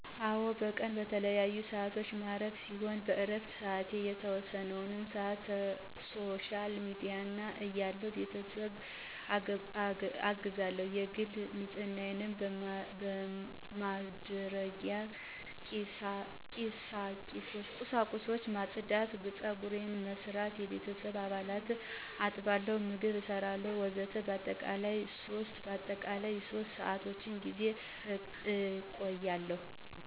አወ በቀን በተለያዪሰአት የማርፍ ሲሆን በእረፍትሰአቴ የተወሰነወን ሰአት ሶሻል ሚዲያ አያለሁ፣ ቤተሰብአግዛለሁ፣ የግል ንጽህናማድረጊያ ቂሳቁሶችን ማጽዳት፣ ጸጉሬን በመሰራት፣ የቤተሰቦቸን አልባሳት አጥባለሁ፣ ምግብ እሰራለሁ ወዘተ በአጠቃላይለ3በአጠቃላይ ለሶስት ሰአት ጌዜ እቆያለሁ።